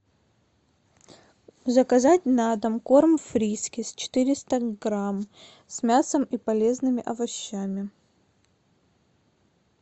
заказать на дом корм фрискис четыреста грамм с мясом и полезными овощами